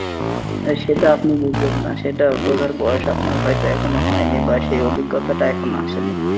না সেটা আপনি ববুঝবেন না, সেটা বুঝার বয়স আপনার হয়তো এখনো হয়নি বা সেই অভিজ্ঞতাটা টা এখনো আসেনি